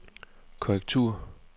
korrektur